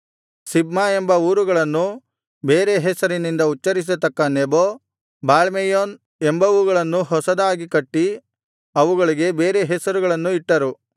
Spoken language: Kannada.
ಸಿಬ್ಮಾ ಎಂಬ ಊರುಗಳನ್ನೂ ಬೇರೆ ಹೆಸರಿನಿಂದ ಉಚ್ಚರಿಸತಕ್ಕ ನೆಬೋ ಬಾಳ್ಮೆಯೋನ್ ಎಂಬವುಗಳನ್ನೂ ಹೊಸದಾಗಿ ಕಟ್ಟಿ ಅವುಗಳಿಗೆ ಬೇರೆ ಹೆಸರುಗಳನ್ನು ಇಟ್ಟರು